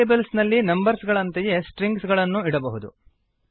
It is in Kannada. ವೇರಿಯೇಬಲ್ಸ್ ನಲ್ಲಿ ನಂಬರ್ಸ್ ಗಳಂತೆಯೇ ಸ್ಟ್ರಿಂಗ್ಸ್ ಗಳನ್ನೂ ಇಡಬಹುದು